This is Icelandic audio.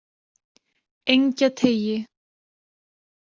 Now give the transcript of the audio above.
Engjateigi